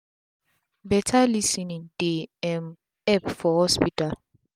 beta lis ten ing dey um epp for hospital